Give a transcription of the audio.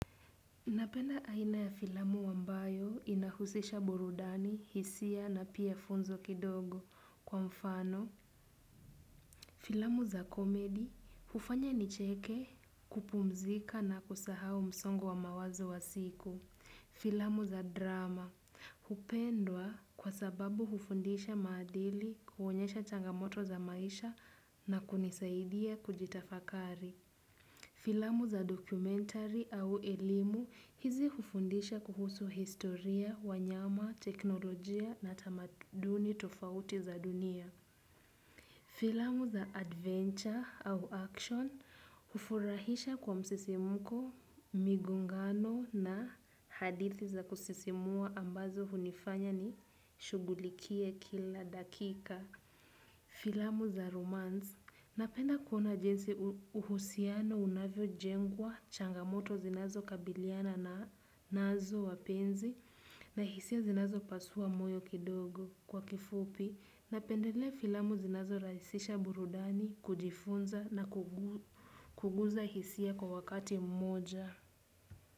Napenda aina ya filamu ambayo inahusisha burudani, hisia na pia funzo kidogo kwa mfano. Filamu za komedi, hufanya nicheke kupumzika na kusahau msongo wa mawazo wa siku. Filamu za drama, hupendwa kwa sababu hufundisha maadili kuonyesha changamoto za maisha na kunisaidia kujitafakari. Filamu za dokumentari au elimu hizi ufundisha kuhusu historia, wanyama, teknolojia na tamaduni tofauti za dunia. Filamu za adventure au action ufurahisha kwa msisimuko, migongano na hadithi za kusisimua ambazo hunifanya nishugulikie kila dakika. Filamu za romance napenda kuona jinsi uhusiano unavyo jengwa changamoto zinazo kabiliana na nazo wapenzi na hisia zinazo pasua moyo kidogo kwa kifupi napendelea filamu zinazo raisisha burudani kujifunza na kuguza hisia kwa wakati mmoja.